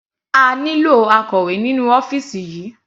A nílò akọ̀wé nínú ọ́fìsì yìí.